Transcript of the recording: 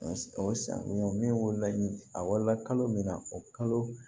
O san min wolo la a wolola kalo min na o kalo